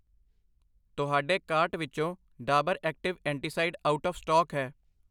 ਤੁਹਾਡੇ ਕਾਰਟ ਵਿੱਚੋ Dabur active antacid out of stock ਹੈ I